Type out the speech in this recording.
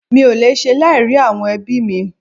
Mi ò lè ṣe láì rí àwọn ẹbí mí